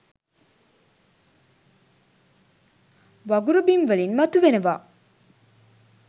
වගුරු බිම් වලින් මතු වෙනවා.